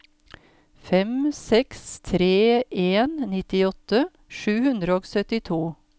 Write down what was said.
fem seks tre en nittiåtte sju hundre og syttito